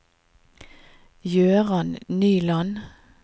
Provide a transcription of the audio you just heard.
Jøran Nyland